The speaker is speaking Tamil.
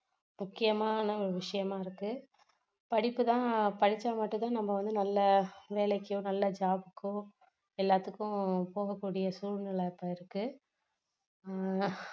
முக்கியமான ஒரு விஷயமா இருக்கு படிப்பு தான் படிச்சா மட்டும் தான் நம்ம வந்து நல்ல வேலைக்கோ நல்ல job கோ எல்லாத்துக்கும் போகக்கூடிய சூழ்நிலை இப்போ இருக்கு ஆஹ்